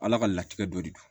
Ala ka latigɛ don